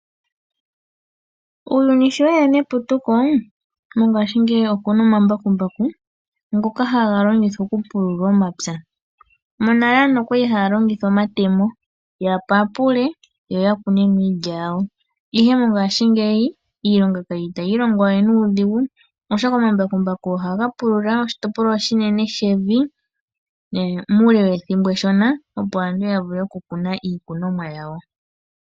Uuyuni sho weya neputuko, mongaashingeyi okuna omambakumbaku ngoka haga longithwa okupulula omapya, monale aantu okwali haya longitha omatemo yapapule yo yakune mo iilya yawo. Ihe mo ngaashingeyi iilonga itayi longwa we nuudhigu oshoka omambakumbaku oha gapulula oshitopolwa oshinene shevi muule wethimbo eshona opo aantu yavule oku kuna iikunomwa yawo.